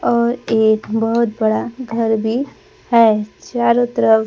और एक बहुत बड़ा घर भी है चारों तरफ।